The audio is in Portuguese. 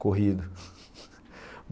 Corrido.